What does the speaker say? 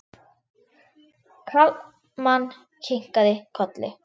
Kalman kinkaði kolli.